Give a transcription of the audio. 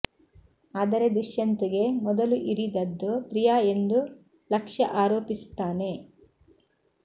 ಆದರೆ ದುಷ್ಯಂತ್ ಗೆ ಮೊದಲು ಇರಿದದ್ದು ಪ್ರಿಯಾ ಎಂದು ಲಕ್ಷ್ಯ ಆರೋಪಿಸುತ್ತಾನೆ